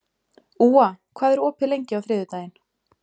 Úa, hvað er opið lengi á þriðjudaginn?